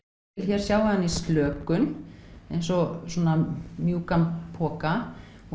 hér sjáiði hana í slökun eins og svona mjúkan poka og